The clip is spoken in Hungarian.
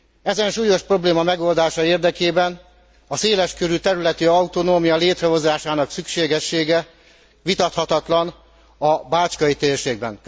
Ezen súlyos probléma megoldása érdekében a széles körű területi autonómia létrehozásának szükségessége vitathatatlan a bácskai térségben.